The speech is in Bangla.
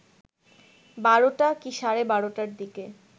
১২টা কি সাড়ে ১২টার দিকে